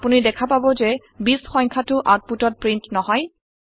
আপুনি দেখা পাব যে ২০ সংখ্যাটৌ আওতপুটত প্ৰীন্ট নহয়